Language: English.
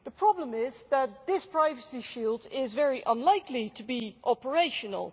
The problem is that this privacy shield is very unlikely to be operational.